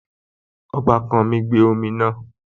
Ọbàkan mi gbé ọmọ náà